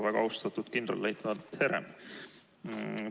Väga austatud kindralleitnant Herem!